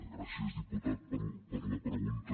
gràcies diputat per la pregunta